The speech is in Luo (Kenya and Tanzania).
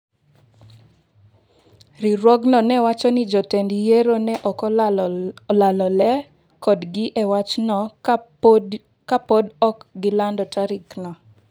Riwruogno ne wacho ni jotend yiero ne ok olalore kodgi e wachno ka podi ok gilando tarigno.